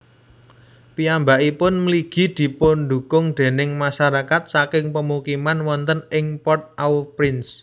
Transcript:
Piyambakipun mligi dipundhukung déning masyarakat saking pemukiman wonten ing Port au Prince